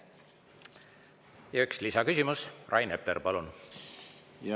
Ja üks lisaküsimus, Rain Epler, palun!